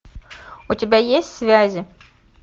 у тебя есть связи